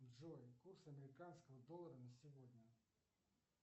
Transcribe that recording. джой курс американского доллара на сегодня